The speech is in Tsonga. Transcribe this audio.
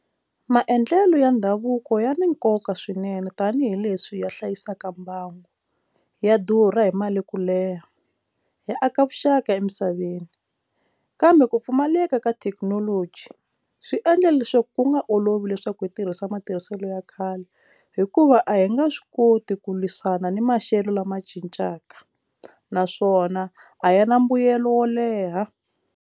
Maendlelo ya ndhavuko ya ni nkoka swinene tanihileswi ya hlayisaka mbangu ya durha hi mali ku leha hi aka vuxaka emisaveni kambe ku pfumaleka ka thekinoloji swi endla leswaku ku nga olovi leswaku hi tirhisa matirhiselo ya khale hikuva a hi nga swi koti ku lwisana ni maxelo lama cincaka naswona a yi na mbuyelo wo leha.